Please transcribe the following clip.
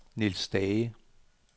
Niels Stage